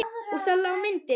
Og þar lá myndin.